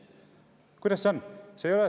Kuidas see on?